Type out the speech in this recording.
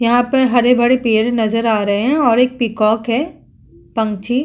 यहाँ पर हरे-भड़े पेर नजर आ रहे है और एक पीकॉक है पंछी।